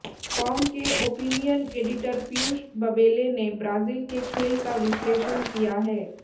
com के opinion editor Piyush Babele ने Brazil के खेल का विश्लेषण किया है